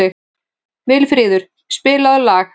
Vilfríður, spilaðu lag.